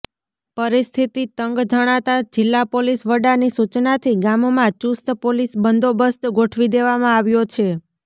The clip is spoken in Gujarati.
પરિસ્થિતિ તંગ જણાતા જિલ્લા પોલીસ વડાની સૂચનાથી ગામમાં ચૂસ્ત પોલીસ બંદોબસ્ત ગોઠવી દેવામાં આવ્યો છે